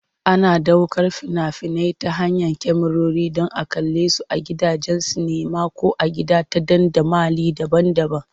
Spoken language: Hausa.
Ana ɗaukar fina-finai ta hanyar kyamarori don a kalle su a gidajen sinima ko a gida ta dandamali daban-daban.